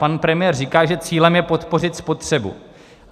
Pan premiér říká, že cílem je podpořit spotřebu.